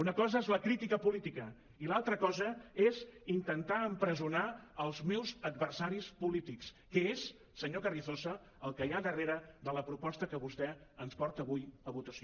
una cosa és la crítica política i l’altra cosa és intentar empresonar els meus adversaris polítics que és senyor carrizosa el que hi ha darrere de la proposta que vostè ens porta avui a votació